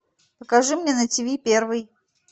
покажи мне на тв первый